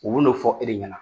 U b'u n'o fɔ e de ɲɛna.